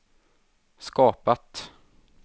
skapat